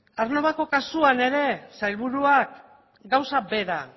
aernnovako kasuan ere sailburuak gauza bera